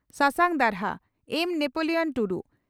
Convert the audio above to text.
ᱥᱟᱥᱟᱝ ᱫᱟᱨᱦᱟ (ᱮᱢᱹ ᱱᱮᱯᱚᱞᱤᱭᱚᱱ ᱴᱩᱰᱩ)